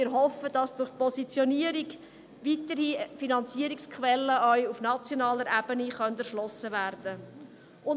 Wir hoffen, dass durch die Positionierung weitere Finanzierungsquellen, auch auf nationaler Ebene, erschlossen werden können.